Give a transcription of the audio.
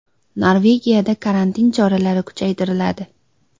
Norvegiyada karantin choralari kuchaytiriladi.